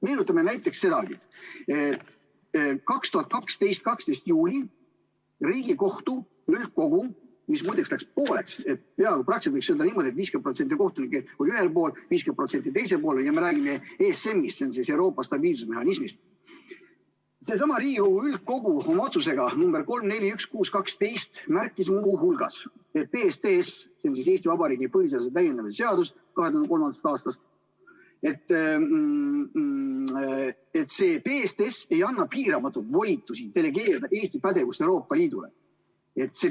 Meenutame näiteks sedagi, kuidas 2012. aasta 12. juulil Riigikohtu üldkogu, mis muideks läks pooleks, nii et peaaegu võiks öelda, et 50% kohtunikke oli ühel pool ja 50% teisel pool – me räägime ESM-ist ehk Euroopa stabiilsusmehhanismist –, seesama Riigikohtu üldkogu oma otsuses nr 3-4-1-6-12 märkis muu hulgas, et PSTS ehk Eesti Vabariigi põhiseaduse täiendamise seadus 2003. aastast ei anna piiramatuid volitusi delegeerida Eesti pädevust Euroopa Liidule.